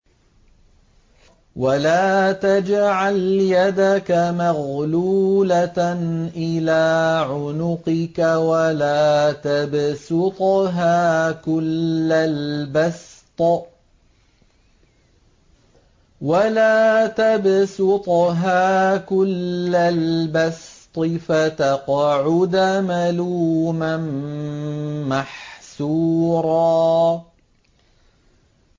وَلَا تَجْعَلْ يَدَكَ مَغْلُولَةً إِلَىٰ عُنُقِكَ وَلَا تَبْسُطْهَا كُلَّ الْبَسْطِ فَتَقْعُدَ مَلُومًا مَّحْسُورًا